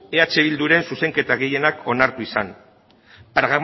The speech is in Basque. eh bilduren zuzenketa gehienak onartu izana